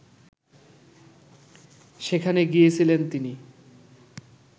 সেখানে গিয়েছিলেন তিনি